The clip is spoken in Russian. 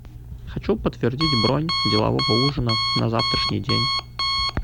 хочу подтвердить бронь делового ужина на завтрашний день